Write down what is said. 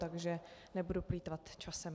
Takže nebudu plýtvat časem.